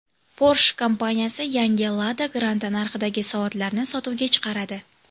Porsche kompaniyasi yangi Lada Granta narxidagi soatlarni sotuvga chiqaradi.